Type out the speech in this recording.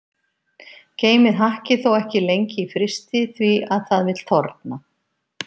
Geymið hakkið þó ekki lengi í frysti því að það vill þorna.